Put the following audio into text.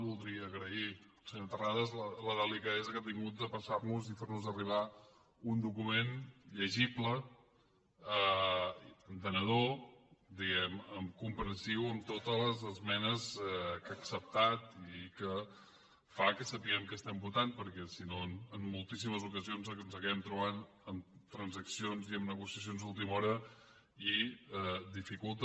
voldria agrair al senyor terrades la delicadesa que ha tingut de passar nos i fer nos arribar un document llegible entenedor diguem ne comprensiu amb totes les esmenes que ha acceptat i que fa que sapiguem què estem votant perquè si no en moltíssimes ocasions ens hàgim trobat amb transaccions i amb negociacions d’última hora i ho dificulta